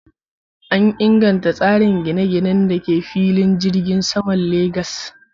An inganta tsarin gine-ginen da ke filin jirgin saman jihar Lagas.